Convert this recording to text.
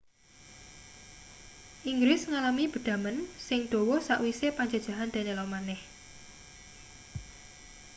inggris ngalami bedhamen sing dawa sawise panjajahan danelaw maneh